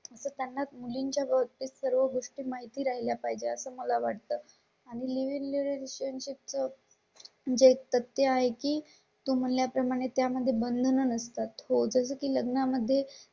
त्यांना मुलींच्या व ते सर्व गोष्टी माहिती राहिला पाहिजे असं मला वाटतं आणि लिस्टन चिप्स जे तर ते आहे की तुम्हाला प्रमाणे त्या मध्ये बंद नसतात होतं की लग्ना मध्ये